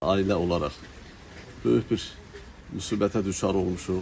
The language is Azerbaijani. ailə olaraq böyük bir müsibətə düçar olmuşuq.